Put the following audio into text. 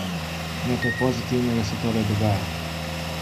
Nekaj pozitivnega se torej dogaja.